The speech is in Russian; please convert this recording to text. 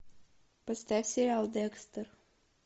поставь сериал декстер